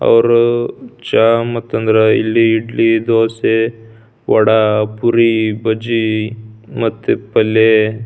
ಅವ್ರು ಚಾ ಮತ್ತೆ ಅಂದ್ರ ಇಡ್ಲಿ ದೋಸೆ ವಡ ಪುರಿ ಬಜಿ ಮತ್ತೆ ಪಲ್ಲೆ.